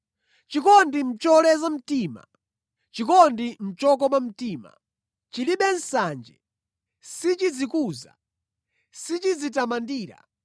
Chikondi nʼcholeza mtima, chikondi nʼchokoma mtima, chilibe nsanje, sichidzikuza, sichidzitamandira.